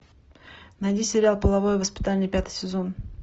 найди сериал половое воспитание пятый сезон